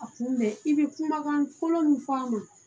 A kun i bɛ kumakan fɔlɔ min fɔ an ma